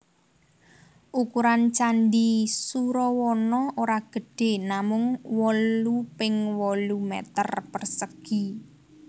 Ukuran Candi Surawana ora gedhé namung wolu ping wolu meter persegi